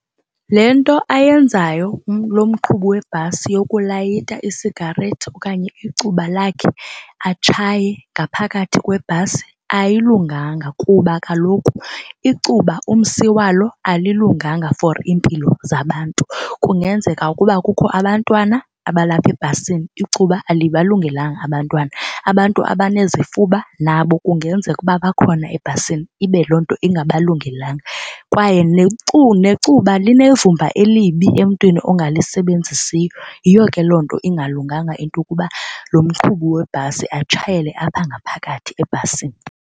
Le nto ayenzayo lo mqhubi webhasi yokulayita isigarethi okanye icuba lakhe atshaye ngaphakathi kwebhasi ayilunganga kuba kaloku icuba umsi walo alilunganga for iimpilo zabantu. Kungenzeka ukuba kukho abantwana abalapha ebhasini icuba alibalungelanga abantwana abantu abanezifuba nabo kungenzeka ukuba bakhona ebhasini ibe loo nto ingabalungelana. Kwaye necuba linevumba elibi emntwini ongalisebenzisiyo. Yiyo ke loo nto ingalunganga into yokuba lo mqhubi webhasi atshayele apha ngaphakathi ebhasini.